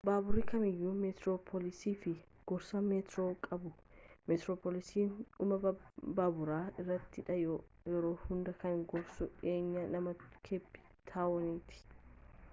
baaburii kamiyyu meetiroopilaasii fi gorsaa meetiroo qabuu meetiroopilaasii dhumma baabura irrattidha yeroo hundaa kan gorsu dhi'eenya naannoo keepi taawonitti